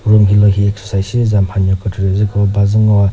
room hilühi exercise shizüza mhanyo kükrekre zü bazü ngoa.